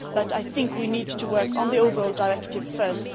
I think we need to work on the overall directive first.